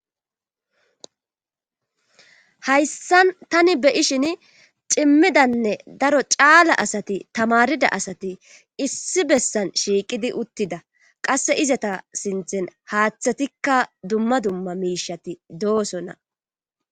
hayssan tani beyishin cimmidanne daro caala asati tamarida asati issi bessan shiiqidi uttida qasse izata sinthen haaththatikka dumma dumma miishati doosonna